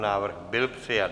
Návrh byl přijat.